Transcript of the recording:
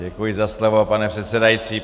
Děkuji za slovo, pane předsedající.